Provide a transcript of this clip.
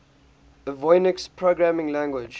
avionics programming language